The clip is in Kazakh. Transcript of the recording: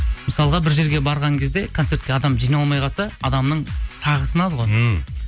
мысалға бір жерге барған кезде концертке адам жиналмай қалса адамның сағы сынады ғой ммм